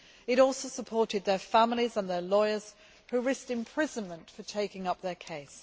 It also supported their families and their lawyers, who risked imprisonment for taking up their case.